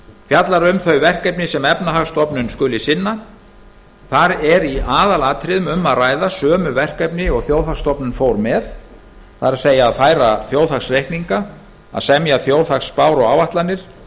fjallar um þau verkefni sem efnahagsstofnun skuli sinna í aðalatriðum er um að ræða sömu verkefni og þjóðhagsstofnun fór með að færa þjóðhagsreikninga semja þjóðhagsspár og áætlanir